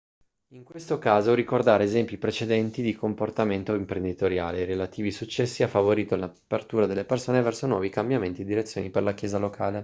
in questo caso ricordare esempi precedenti di comportamento imprenditoriale e i relativi successi ha favorito l'apertura delle persone verso nuovi cambiamenti e direzioni per la chiesa locale